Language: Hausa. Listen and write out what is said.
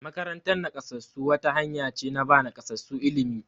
Makarantar nakasassu wata hanya ce na ba nakasassu ilimi.